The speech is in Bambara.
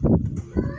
Hɔn